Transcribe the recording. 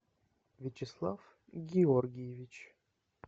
вячеслав георгиевич